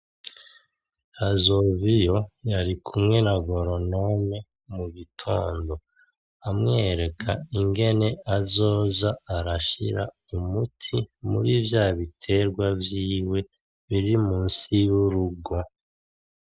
Kazoviyo yarikumwe na goronome mugitondo, amwereka ingene azoza arashira umuti muri vyabiterwa vyiwe biri munsi yurugo.